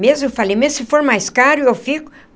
Mesmo, eu falei, mesmo se for mais caro, eu fico.